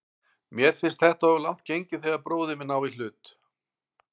Mér finnst þetta of langt gengið þegar bróðir minn á í hlut.